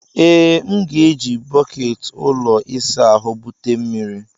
Ee, m ga-eji bọket ụlọ ịsa ahụ bute mmiri.